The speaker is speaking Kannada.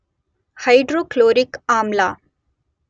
ಹೈಡ್ರೋಕ್ಲೋರಿಕ್ ಆಮ್ಲ